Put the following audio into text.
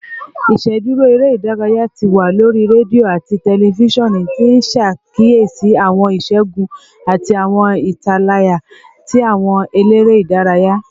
Iṣeduro ere-idaraya ti wa lori redio ati tẹlifisiọnu, ti n ṣakiyesi awọn iṣẹgun ati awọn italaya ti awọn elere idaraya